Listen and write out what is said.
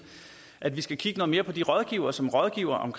at vi skal kigge noget mere på de rådgivere som rådgiver om